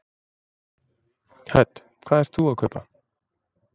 Hödd: Hvað ert þú að kaupa?